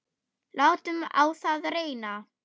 Látum á það reyna!